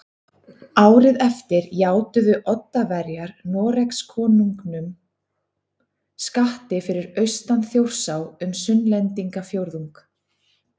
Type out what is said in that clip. Árið eftir játuðu Oddaverjar Noregskonungum skatti fyrir austan Þjórsá um Sunnlendingafjórðung